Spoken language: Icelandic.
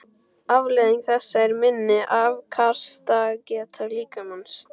Afleiðing þessa er minni afkastageta líkamans.